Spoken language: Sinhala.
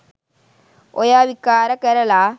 ඔය විකාර කරලා